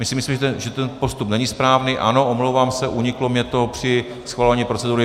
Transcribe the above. Myslíme si, že ten postup není správný, ano, omlouvám se, uniklo mi to při schvalování procedury.